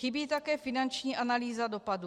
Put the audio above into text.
Chybí také finanční analýza dopadu.